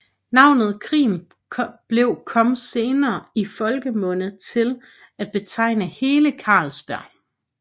Navnet Krim blev kom senere i folkemunde til at betegne hele Carlsbjerg